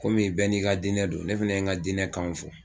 Kɔmi bɛɛ n'i ka dinɛ don , ne fana ye n ka dinɛ kanw fɔ.